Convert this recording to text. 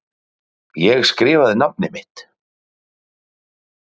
Ég skrifaði mitt nafn.